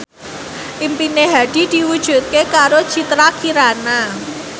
impine Hadi diwujudke karo Citra Kirana